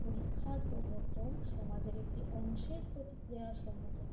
পরীক্ষার প্রবর্তন সমাজের একটি অংশের প্রতিক্রিয়া সম্মুখীন হয়েছে